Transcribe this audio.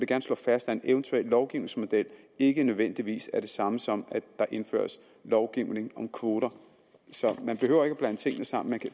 gerne slå fast at en eventuel lovgivningsmodel ikke nødvendigvis er det samme som at der indføres lovgivning om kvoter så man behøver ikke at blande tingene sammen